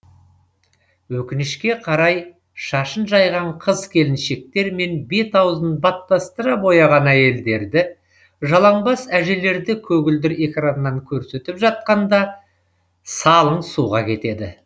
өкінішке қарай шашын жайған қыз келіншектер мен бет аузын баттастыра бояған әйелдерді жалаңбас әжелерді көгілдір экраннан көрсетіп жатқанда салың суға кетеді